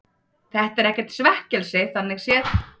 Þetta er ekkert svekkelsi þannig séð.